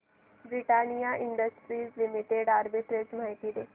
Britannia Industries Limited arbitrage माहिती दे